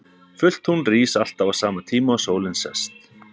Fullt tungl rís alltaf á sama tíma og sólin sest.